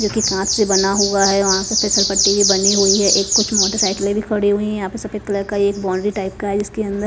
जो कि कांच से बना हुआ है वहां पे फिसल पट्टी भी बनी हुई है एक कुछ मोटर साइकिलें भी खड़ी हुई हैं यहां पे सफेद कलर का एक बाउंड्री टाइप का है इसके अंदर--